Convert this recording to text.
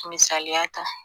Misaliya ta